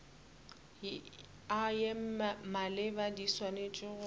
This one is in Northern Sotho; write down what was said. ye maleba di swanetše go